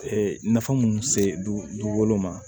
nafa munnu se du dugukolo ma